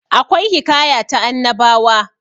akwai hikaya ta annabawa